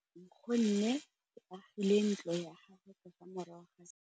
Nkgonne o agile ntlo ya gagwe ka fa morago ga seterata sa rona.